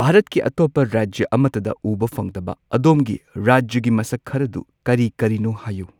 ꯚꯥꯔꯠꯀꯤ ꯑꯇꯣꯞꯄ ꯔꯥꯖ꯭ꯌ ꯑꯃꯇꯗ ꯎꯕ ꯐꯪꯗꯕ ꯑꯗꯣꯝꯒꯤ ꯔꯥꯖ꯭ꯌꯒꯤ ꯃꯁꯛ ꯈꯔꯗꯨ ꯀꯔꯤ ꯀꯔꯤꯅꯣ ꯍꯥꯏꯌꯨ꯫